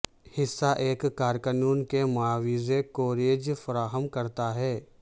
حصہ ایک کارکنوں کے معاوضہ کوریج فراہم کرتا ہے